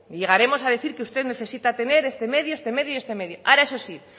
llegaremos a decir que usted necesita tener este medio este medio y este medio ahora eso sí